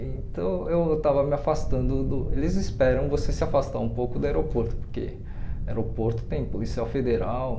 Então, eu estava me afastando do... Eles esperam você se afastar um pouco do aeroporto, porque o aeroporto tem policial federal.